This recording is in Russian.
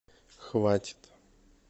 хватит